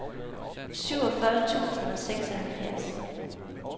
syvogfyrre tusind og seksoghalvfjerds